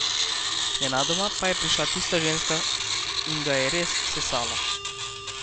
Nenadoma pa je prišla tista ženska in ga je res sesala.